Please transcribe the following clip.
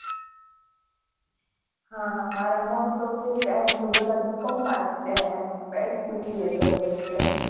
હા હા મારા most of friends બધા BCOM માં છે અને મેં જ BCA કરેલું છે.